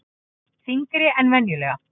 Þyngri en venjulega.